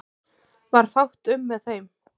Varð fátt um með þeim